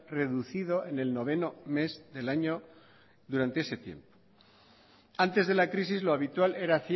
reducido en el noveno mes del año durante ese tiempo antes de la crisis lo habitual era